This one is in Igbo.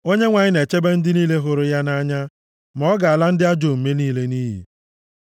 Onyenwe anyị na-echebe ndị niile hụrụ ya nʼanya, ma ọ ga-ala ndị ajọ omume niile nʼiyi.